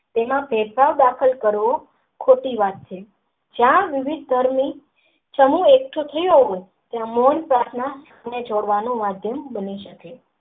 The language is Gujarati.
તેમાં ડેટા દાખલ કરવો ખોટી વાત છે જ્યાં સુધી એકઠો થયો તો મેન પ્રાથના નું માધ્યમ બની શકે છે.